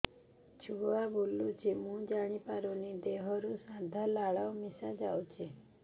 ଛୁଆ ବୁଲୁଚି ମୁଇ ଜାଣିପାରୁନି ଦେହରୁ ସାଧା ଲାଳ ମିଶା ଯାଉଚି